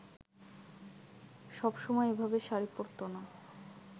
সবসময় এভাবে শাড়ি পরতো না